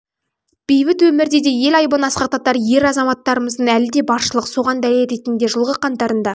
бейбіт өмірде де ел айбынын асқақтатар ер азаматтарымыз әлі де баршылық соған дәлел ретінде жылғы қаңтарында